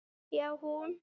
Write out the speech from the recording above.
Já, hún!